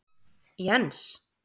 Jens